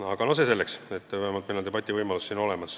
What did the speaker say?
Aga no see selleks, vähemalt on meil siin debativõimalus.